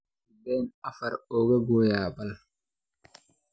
sideen afar uga gooyaa laba